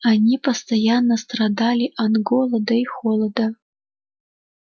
они постоянно страдали от голода и холода